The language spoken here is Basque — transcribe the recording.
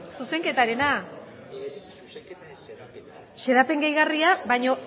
zuzenketarena xedapen gehigarria baino